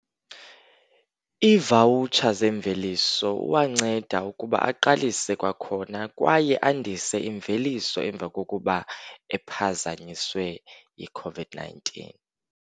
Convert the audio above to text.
Iivawutsha zemveliso uwanceda ukuba aqalise kwakhona, kwaye andise imveliso emva kokuba ephazanyiswe yi-COVID-19.